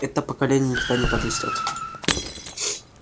это поколение никогда не подрастёт